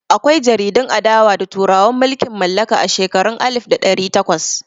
Akwai jaridun adawa da turawan mulkin mallaka a shekarun alif da ɗari takwas.